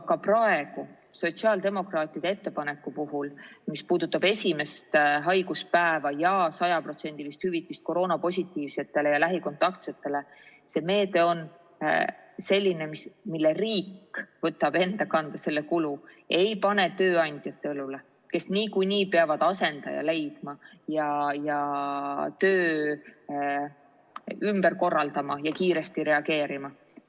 Ka praegu sotsiaaldemokraatide ettepaneku puhul, mis puudutab esimest haiguspäeva ja sajaprotsendilist hüvitist koroonapositiivsetele ja lähikontaktsetele, on see meede selline, mille riik võtab enda kanda ega pane seda kulu tööandjate õlule, kes niikuinii peavad asendaja leidma, töö ümber korraldama ja kiiresti reageerima.